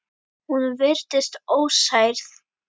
Hún virtist ósærð.